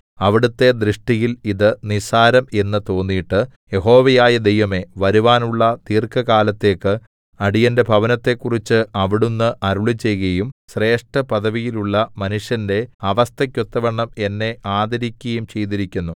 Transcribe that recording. അവിടുത്തെ ദൃഷ്ടിയിൽ ഇത് നിസ്സാരം എന്നു തോന്നീട്ടു യഹോവയായ ദൈവമേ വരുവാനുള്ള ദീർഘകാലത്തേക്കു അടിയന്റെ ഭവനത്തെക്കുറിച്ച് അവിടുന്ന് അരുളിച്ചെയ്കയും ശ്രേഷ്ഠപദവിയിലുള്ള മനുഷ്യന്റെ അവസ്ഥക്കൊത്തവണ്ണം എന്നെ ആദരിക്കയും ചെയ്തിരിക്കുന്നു